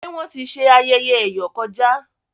ṣe Wón tí ṣe ayẹyẹ eyọ kọjá?